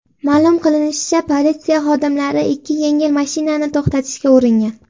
Ma’lum qilinishicha, politsiya xodimlari ikki yengil mashinani to‘xtatishga uringan.